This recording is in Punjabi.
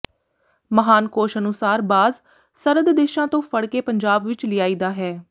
ਮਹਾਨਕੋਸ਼ ਅਨੁਸਾਰ ਬਾਜ਼ ਸਰਦ ਦੇਸ਼ਾਂ ਤੋਂ ਫੜ ਕੇ ਪੰਜਾਬ ਵਿੱਚ ਲਿਆਈਦਾ ਹੈ